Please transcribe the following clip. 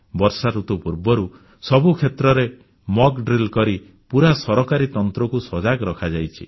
ବର୍ଷାଋତୁ ପୂର୍ବରୁ ସବୁ କ୍ଷେତ୍ରରେ ବିପର୍ଯ୍ୟୟ ପରିଚାଳନା ଅଭ୍ୟାସ ମକ୍ ଡ୍ରିଲ୍ କରି ପୁରା ସରକାରୀ ତନ୍ତ୍ରକୁ ସଜାଗ କରାଯାଇଛି